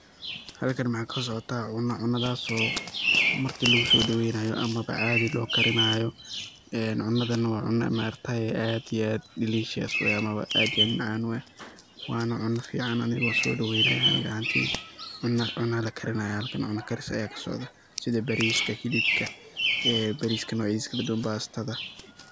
Halkan maxa kasocota cuna ,cunadaso marti lagu sodaweynayo ama ba adhi lo karinayo cudadhan waa cuno aad iyo aad delicious ah ama ba aad iyo aad u macan u ah waa cuna fican anigo so daweynayo aniga ahanti , cuna la karinaya oo cuna karis aya halkan ka socda sidha bariska ,hilibka ,bariska noc yadisa kaladuwan, bastada.